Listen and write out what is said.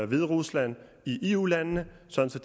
hviderusland i eu landene sådan